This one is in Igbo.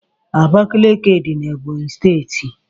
Abakiliki dị n' Ebonyi steeti.